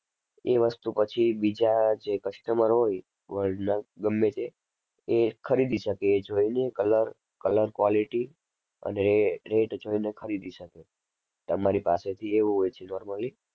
એ વસ્તુ પછી બીજા જે customer હોય world ના ગમે તે એ ખરીદી શકે એ જોઈને color color quality અને rate જોઈ ને ખરીદી શકે તમારી પાસેથી એવું હોય છે normally.